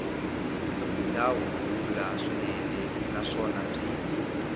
bya huhula swinene naswona byi